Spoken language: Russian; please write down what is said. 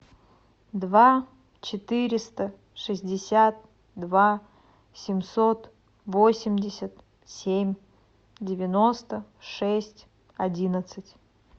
два четыреста шестьдесят два семьсот восемьдесят семь девяносто шесть одиннадцать